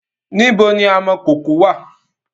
Níbo ni amọ̀kọkò wà?